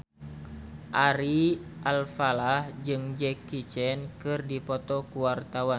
Ari Alfalah jeung Jackie Chan keur dipoto ku wartawan